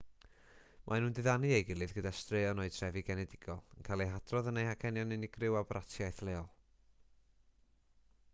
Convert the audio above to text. maen nhw'n diddanu ei gilydd gyda straeon o'u trefi genedigol yn cael eu hadrodd yn eu hacenion unigryw a bratiaith leol